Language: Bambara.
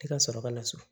I ka sɔrɔ ka na so